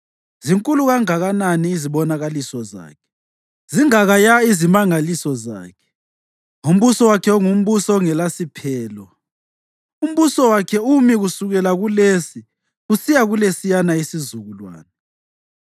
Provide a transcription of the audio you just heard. Zinkulu kangakanani izibonakaliso zakhe, zingakaya izimangaliso zakhe! Umbuso wakhe ungumbuso ongelasiphelo; umbuso wakhe umi kusukela kulesi kusiya kulesiyana isizukulwane.